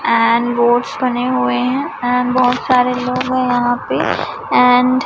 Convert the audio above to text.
and boards बने हुए हैं एंड बहुत सारे लोग हैं यहां पे एंड --